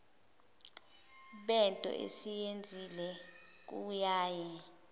bento esiyenzile kuyaye